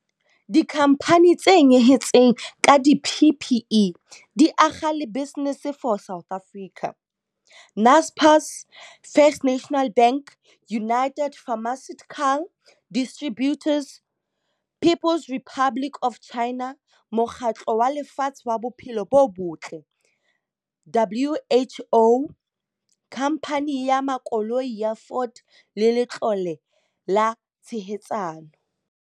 Dikhamphani tse nyehetseng ka di-PPE di akga le Business for South Africa, Naspers, First National Bank, United Pharmaceutical Distributors, People's Republic of China, Mokgatlo wa Lefatshe wa Bophelo bo Botle WHO, Khamphani ya Makoloi ya Ford le Letlole la Tshehetsano.